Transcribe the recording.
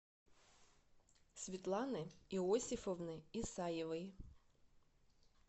светланы иосифовны исаевой